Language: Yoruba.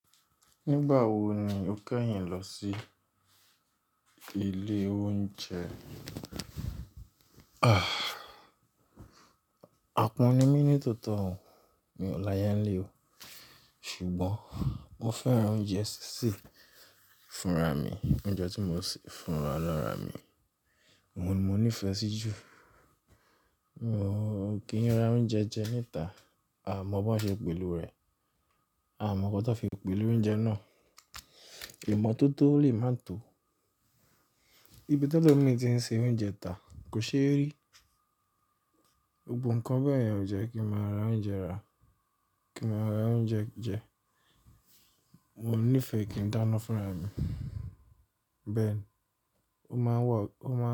Nígbà wo ni o kẹ́yìn lọ sí ilé oúnjẹ? Àpọ́n mi ní tòótọ́ mi ò láyá ń lé o. Ṣùgbọ́n mo fẹ́ran oúnjẹ sísè fúnra mi, oúnjẹ tí mo sè fúnra alára mi. Òun ni mo nífẹ̀ẹ́ sí jù. Kí ń ra oúnjẹ jẹ níta, aà mọ bó ṣe ń pèlo rẹ̀, a mọ ňkan tó fi ń pèlo oúnjẹ náà. Ìmọ́tótó lè máa tó. Ibi tẹ́lòmi í ti ń se oúnjẹ ta kò ṣeé rí. Gbogbo nkan bẹ́ẹ̀ yẹn ò jẹ́ kí mã ra oúnjẹ ra, kí mo ra oúnjẹ jẹ. Mo nífẹ̀ẹ́ kí ń dáná fúnra mi. Bẹ́ẹ̀ ni, ó máa wà, ó máa ń.